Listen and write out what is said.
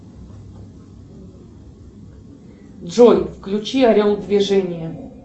джой включи орел в движении